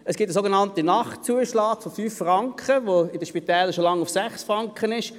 Es gibt einen sogenannten Nachtzuschlag von 5 Franken, der bei den Spitälern schon lange bei 6 Franken liegt.